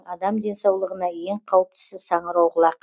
адам денсаулығына ең қауіптісі саңырауқұлақ